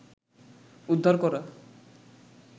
উদ্ধার করা